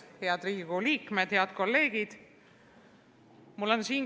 Head Riigikogu liikmed, head kolleegid!